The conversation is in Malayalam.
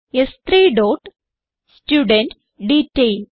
സ്3 ഡോട്ട് സ്റ്റുഡെന്റ്ഡേറ്റൈൽ